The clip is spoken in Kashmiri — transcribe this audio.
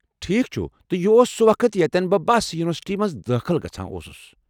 ٹھیٖک چھُ، تہٕ یہِ اوس سُہ وقت یتٮ۪ن بہٕ بس یونیورسٹی مَنٛز دٲخٕل گژھان اوسُس ۔